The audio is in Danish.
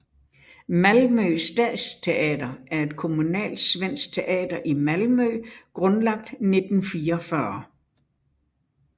Malmö stadsteater er et kommunalt svensk teater i Malmö grundlagt i 1944